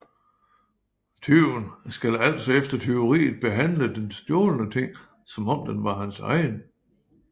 Tyven skal altså efter tyveriet behandle den stjålne ting som om den var hans egen